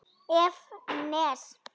ef. ness